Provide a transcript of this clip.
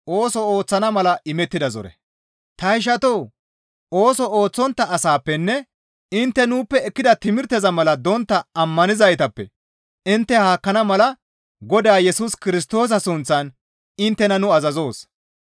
Ta ishatoo! Ooso ooththontta asaappenne intte nuuppe ekkida timirteza mala dontta ammanizaytappe intte haakkana mala Godaa Yesus Kirstoosa sunththan inttena nu azazoos.